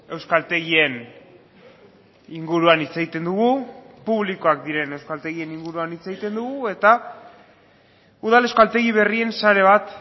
euskaltegien inguruan hitz egiten dugu publikoak diren euskaltegien inguruan hitz egiten dugu eta udal euskaltegi berrien sare bat